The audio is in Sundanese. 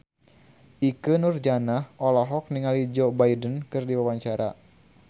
Ikke Nurjanah olohok ningali Joe Biden keur diwawancara